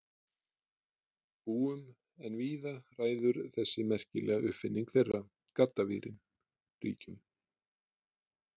Búum en víða ræður þessi merkilega uppfinning þeirra, gaddavírinn, ríkjum.